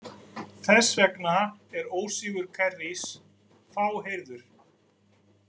Þess vegna er ósigur Kerrys fáheyrður.